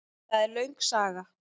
Það er löng saga.